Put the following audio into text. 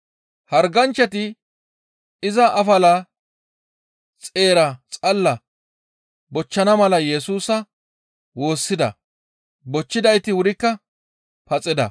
Harganchchati iza afala xeera xalla bochchana mala Yesusa woossida. Bochchidayti wurikka paxida.